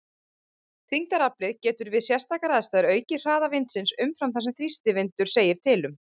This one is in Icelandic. Þyngdaraflið getur við sérstakar aðstæður aukið hraða vindsins umfram það sem þrýstivindur segir til um.